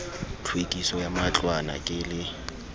tlhwekiso ya matlwana ke le